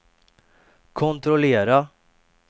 kontrollera